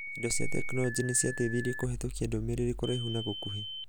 indo cia tekinorojĩ nĩciateithirie kũhetukia ndũmĩrĩri kũraihu na gũkuhĩ.